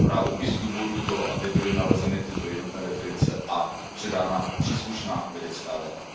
tuto zprávu i z důvodu toho, aby byly nalezeny tyto jednotné definice a předána příslušná vědecká data.